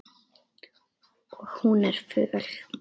Og hún er föl.